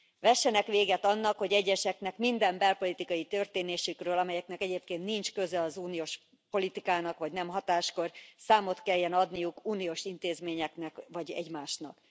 Vessenek véget annak, hogy egyeseknek minden belpolitikai történésükről, amelyeknek egyébként nincs köze az uniós politikának, vagy nem hatáskör, számot kelljen adniuk uniós intézményeknek vagy egymásnak.